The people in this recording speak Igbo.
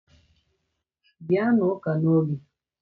Bịa n'ụka n'oge!